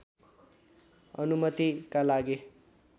अनुमतिका लागि